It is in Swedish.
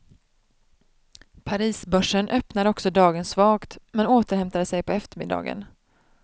Parisbörsen öppnade också dagen svagt, men återhämtade sig på eftermiddagen.